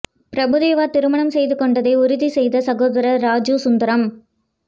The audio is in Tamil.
பிரபு தேவா திருமணம் செய்துகொண்டதை உறுதி செய்த சகோதரர் ராஜூ சுந்தரம்